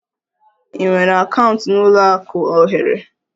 I nwere akaụntụ n'ụlọ akụ ohere?